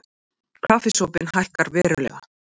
Kaffisopinn hækkar verulega